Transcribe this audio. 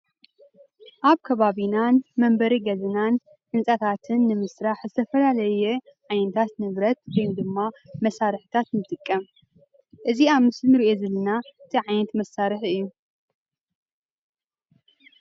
ኣብ ከባቢናን መንበሪ ገዛናን ህንፃታትን ንምስራሕ ዝተፈላለየ ዓይነታት ንብረት ወይ ድማ መሳርሕታት ንጥቀም፡፡ እዚ ኣብ ምስሊ እንሪኦ ዘለና እንታይ ዓይነት መሳርሒ እዩ?